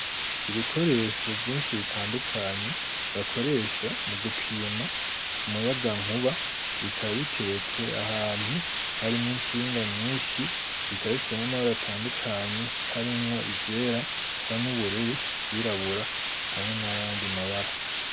Ibikoresho vyinshi bitandukanye bakoresha mu gupima umuyaga nkuba bikaba biteretse ahantu hari mwo itsinga nyinshi bikaba bifise n'amabara atandukanye harimwo ivyera isa n'ubururu vyirabura hamwe n'ayandi mabara.